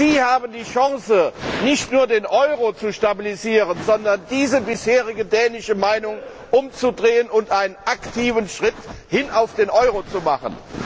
Sie haben die Chance, nicht nur den Euro zu stabilisieren, sondern diese bisherige dänische Meinung umzudrehen und einen aktiven Schritt hin zum Euro zu machen.